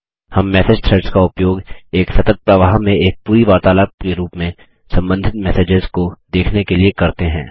हम message threads का उपयोग एक सतत प्रवाह में एक पूरी वार्तालाप के रूप में संबंधित मैसेसेज को देखने के लिए करते हैं